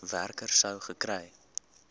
werker sou gekry